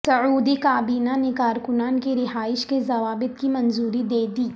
سعودی کابینہ نے کارکنان کی رہائش کے ضوابط کی منظوری دیدی